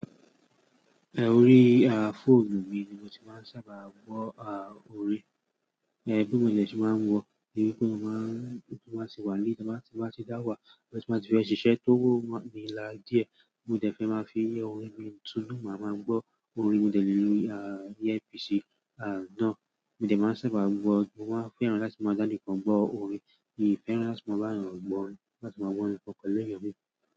Eh, orí ah fóònù mi ni mo ti máa ń sábà gbọ́ ah orin. Eh, bí mo dè ṣe máa ń gbọ́, ìyẹn ní pé mo máa ń, tí n bá ti wà nílé, tí mo bá ti dáwà, bóyá tí n bá ti fẹ́ ṣíṣe tó wọ̀ mo mi láa díẹ̀, mo dẹ̀ fẹ́ máa fi orin mi túnu, màá máa gbọ́ orin. Mo dẹ̀ lé lo ah air piece ah ná. Mo dẹ̀ máa ń sábà gbọ́, mo máa fẹ́ràn láti máa dání kan gbọ́ orin. Mì í fẹ́ràn láti máa bá ẹèyàn gbọ́ orin, láti máa gbọ́ orin po pẹ̀lú èèyàn mi.